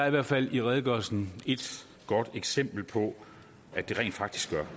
i hvert fald i redegørelsen et godt eksempel på at det rent faktisk gør